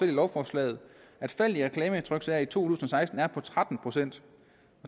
lovforslaget at faldet i reklametryksager i to tusind og seksten vil være på tretten procent